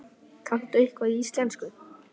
Kanntu eitthvað í íslensku?